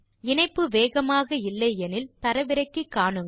இணைப்பு வேகமாக இல்லை எனில் தரவிறக்கி காணுங்கள்